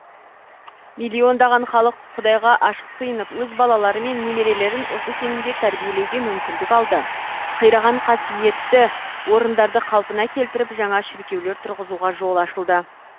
миллиондаған халық құдайға ашық сыйынып өз балалары мен немерелерін осы сенімде тәрбиелеуге мүмкіндік алды қираған қасиетті орындарды қалпына келтіріп жаңа шіркеулер тұрғызуға жол ашылды